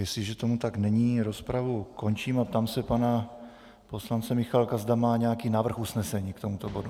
Jestliže tomu tak není, rozpravu ukončím a ptám se pana poslance Michálka, zda má nějaký návrh usnesení k tomuto bodu.